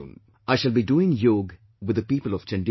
I shall be doing Yog with the people of Chandigarh